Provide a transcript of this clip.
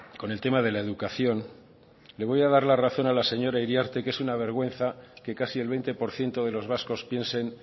con el tema de la educación le voy a dar la razón a la señora iriarte que es una vergüenza que casi el veinte por ciento de los vascos piensen